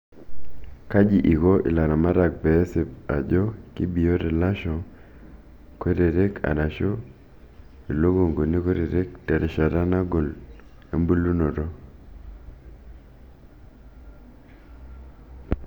kaji iko ilaramatak peesip ajo kibiot ilasho kutitik arashu ilikunguni kutitik terishata nagol embulunoto?